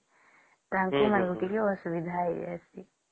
ତାଙ୍କ ମାଙ୍କୁ ଟିକେ ଅସୁବିଧା ହେଇ ଜାଇସୀ